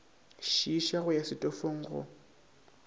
šiiša go ya setofong go